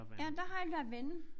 Ja der har lavendel